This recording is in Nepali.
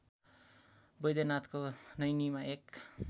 बैद्यनाथको नैनीमा एक